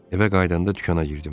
Evə qayıdanda dükana girdim.